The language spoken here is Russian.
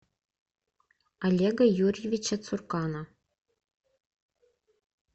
олега юрьевича цуркана